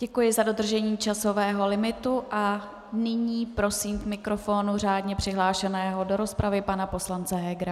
Děkuji za dodržení časového limitu a nyní prosím k mikrofonu řádně přihlášeného do rozpravy pana poslance Hegera.